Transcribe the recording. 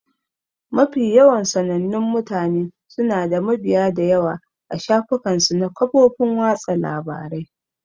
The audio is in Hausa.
Mafi yawan sanannun mutane suna da mabiya da yawa a shafukan su na kafofin watsa labarai